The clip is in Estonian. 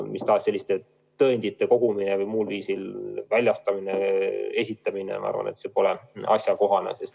Mis tahes selliste tõendite kogumine ja väljastamine pole minu arvates asjakohane.